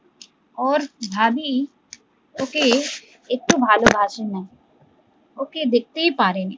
ওর ভাবী ওকে একটুও ভালোবাসে না ওকে দেখতে ই পারে না